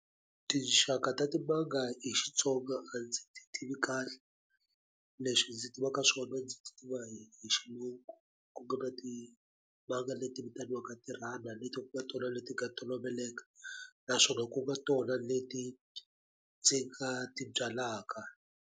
Tinxaka ka timanga hi Xitsonga a ndzi ti tivi kahle leswi ndzi tivaka swona ndzi tiva hi xilungu ku nga na timanga leti vitaniwaka leti ku nga tona le ti nga toloveleka naswona ku nga tona leti ndzi nga ti byalaka.